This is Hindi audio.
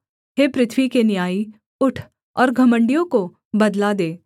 हे पृथ्वी के न्यायी उठ और घमण्डियों को बदला दे